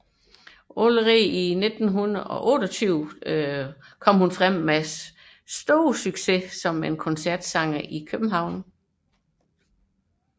Allerede i 1928 debuterede hun med stor succes som koncertsanger i København